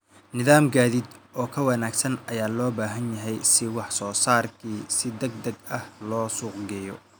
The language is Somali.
Nidaam gaadiid oo ka wanaagsan ayaa loo baahan yahay si wax soo saarka si degdeg ah loo suuq geeyo.